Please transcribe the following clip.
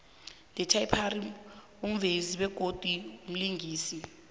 ityler perry mvezi begodu mlingisi